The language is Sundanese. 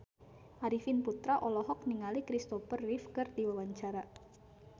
Arifin Putra olohok ningali Kristopher Reeve keur diwawancara